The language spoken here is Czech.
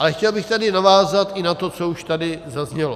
Ale chtěl bych tady navázat i na to, co už tady zaznělo.